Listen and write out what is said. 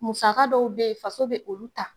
Musaka dɔw be ye faso be olu ta